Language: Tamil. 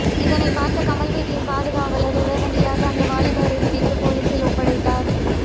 இதனை பார்த்த கமல் வீட்டின் பாதுகாவலர் உடனடியாக அந்த வாலிபரை பிடித்து போலீசில் ஒப்படைத்தார்